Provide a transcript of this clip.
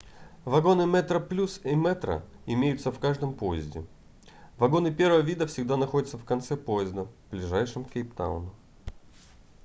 вагоны metroplus и metro имеются в каждом поезде вагоны первого вида всегда находятся в конце поезда ближайшем к кейптауну